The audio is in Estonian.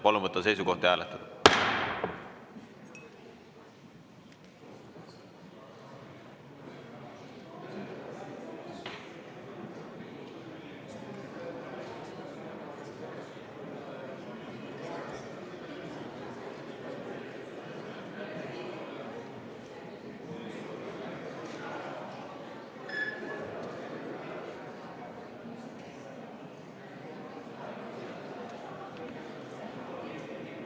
Palun võtta seisukoht ja hääletada!